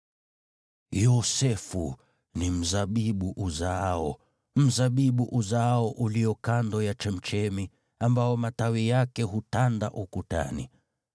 “Yosefu ni mzabibu uzaao, mzabibu uzaao ulio kando ya chemchemi, ambao matawi yake hutanda ukutani.